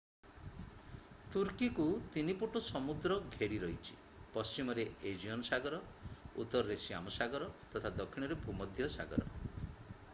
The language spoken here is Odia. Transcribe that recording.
ତୁର୍କୀକୁ ତିନିପଟୁ ସମୁଦ୍ର ଘେରି ରହିଛି ପଶ୍ଚିମରେ ଏଜିଅନ୍ ସାଗର ଉତ୍ତରରେ ଶ୍ୟାମ ସାଗର ତଥା ଦକ୍ଷିଣରେ ଭୂମଧ୍ୟ ସାଗର